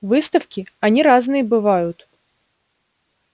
выставки они разные бывают